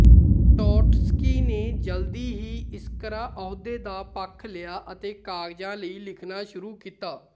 Trotsky ਨੇ ਜਲਦੀ ਹੀ ਇਸਕਰਾ ਅਹੁਦੇ ਦਾ ਪੱਖ ਲਿਆ ਅਤੇ ਕਾਗਜ਼ਾਂ ਲਈ ਲਿਖਣਾ ਸ਼ੁਰੂ ਕੀਤਾ